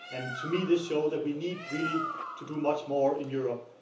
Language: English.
To me, this shows that we need really to do much more in Europe.